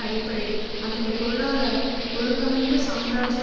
அடிப்படையில் அமைந்த பொருளாதார ஒழுங்கமைப்புசாம்ராஜ்ஜிய